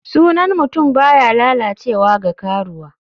Sunan mutum baya lalacewa ga karuwa.